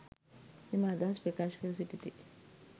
එම අදහස් ප්‍රකාශ කර සිටිති.